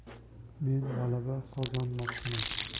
Men g‘alaba qozonmoqchiman.